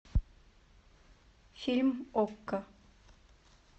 фильм окко